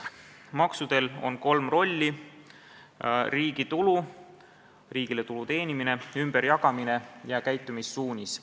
Maksudel on kolm rolli: riigitulu ehk riigile tulu teenimine, ümberjagamine ja käitumissuunis.